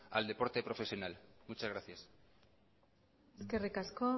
al deporte profesional muchas gracias eskerrik asko